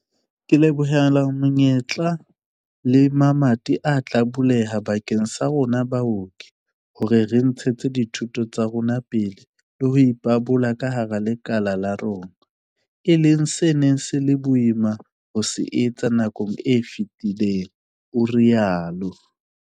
"Ke lebohela menyetla le mamati a tla buleha bakeng sa rona baoki hore re ntshetse dithuto tsa rona pele le ho ipabola ka hara lekala la rona, e leng se neng se le boima ho se etsa nakong e fetileng," o rialo.